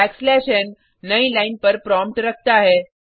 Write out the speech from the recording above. back slash n नई line पर prompt रखता है